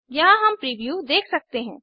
यहाँ हम प्रीव्यू देख सकते हैं